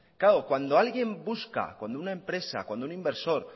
claro cuando alguien busca cuando una empresa cuando un inversor